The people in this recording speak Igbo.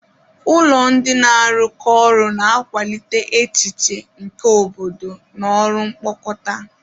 Ụlọ ndị na-arụkọ ọrụ na-akwalite echiche nke obodo na ọrụ mkpokọta.